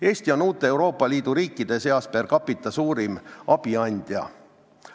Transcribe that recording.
Eesti on uute Euroopa Liidu riikide seas per capita suurim abiandja.